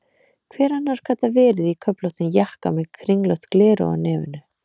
Hver annar gat það verið, í köflóttum jakka með kringlótt gleraugu á nefinu?